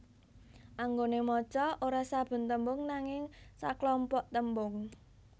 Anggone maca ora saben tembung nanging saklompok tembung